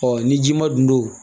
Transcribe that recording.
ni ji ma dun don